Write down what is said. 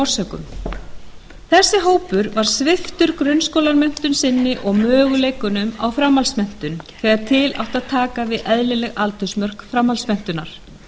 orsökum þessi hópur var sviptur grunnskólamenntun sinni og möguleikunum á framhaldsmenntun þegar til átti að taka við eðlileg aldursmörk framhaldsmenntunar